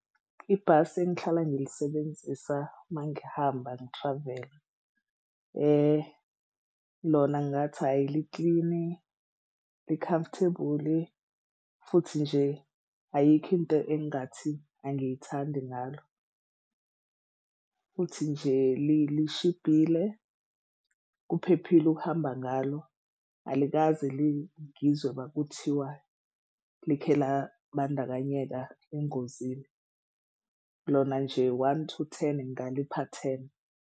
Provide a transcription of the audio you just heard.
Ibhasi engihlala ngilisebenzisa mangihamba ngi-travel-a lona ngingathi ayi liklini li-comfortable-i futhi nje ayikho into engingathi angiyithandi ngalo. Futhi nje lishibhile kuphephile ukuhamba ngalo. Alikaze ngizwe uma kuthiwa likhe labandakanyeka engozini lona nje one to ten ngalipha ten.